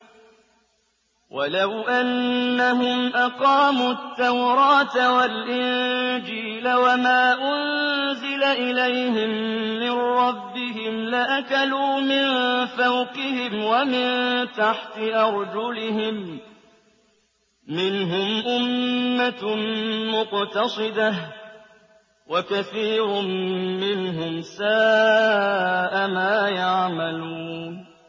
وَلَوْ أَنَّهُمْ أَقَامُوا التَّوْرَاةَ وَالْإِنجِيلَ وَمَا أُنزِلَ إِلَيْهِم مِّن رَّبِّهِمْ لَأَكَلُوا مِن فَوْقِهِمْ وَمِن تَحْتِ أَرْجُلِهِم ۚ مِّنْهُمْ أُمَّةٌ مُّقْتَصِدَةٌ ۖ وَكَثِيرٌ مِّنْهُمْ سَاءَ مَا يَعْمَلُونَ